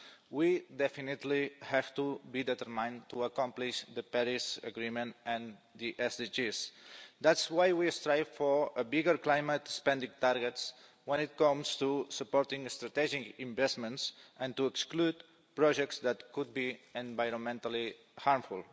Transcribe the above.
We definitely have to be determined to accomplish the Paris Agreement and the SDGs. That is why we strive for bigger climate spending targets when it comes to supporting strategic investments and exclude projects that could be environmentally harmful.